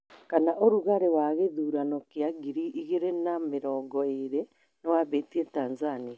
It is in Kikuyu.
kana ũrugarĩ wa gĩthũrano kia ngiri igĩrĩ na mĩrongo ĩrĩ nĩwambĩtie Tanzania